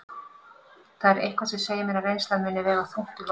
Það er eitthvað sem segir mér að reynslan muni vega þungt í London.